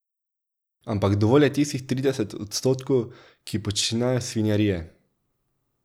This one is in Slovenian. Ampak dovolj je tistih trideset odstotkov, ki počnejo svinjarije.